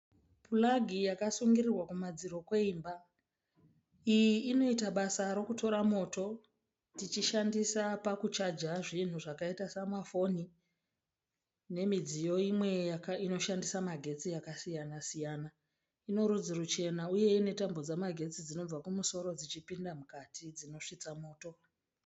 Puragi yakasungirirwa kumadziro kweimba. Iyi inoita basa rokutora moto tichishandisa pakuchaja zvinhu zvakaita samafoni nemidziyo imwe inoshandisa magetsi yakasiyana-siyana. Ine rudzi ruchena uye ine tambo dzamagetsi dzinobva kumusoro dzinosvitsa moto.